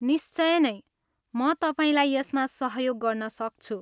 निश्चय नै, म तपाईँलाई यसमा सहयोग गर्न सक्छु।